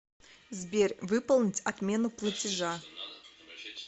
сбер выполнить отмену платежа